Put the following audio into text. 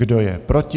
Kdo je proti?